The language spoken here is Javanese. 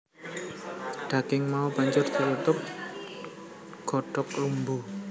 Daging mau banjur ditutupi godhong lumbu